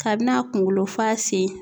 Kabini a kunkolo fɔ a sen